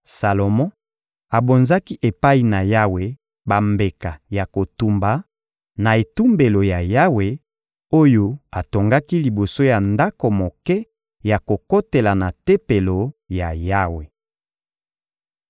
Salomo abonzaki epai na Yawe bambeka ya kotumba, na etumbelo ya Yawe, oyo atongaki liboso ya ndako moke ya kokotela na Tempelo ya Yawe.